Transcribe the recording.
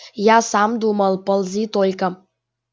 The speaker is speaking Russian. я сам думал ползи только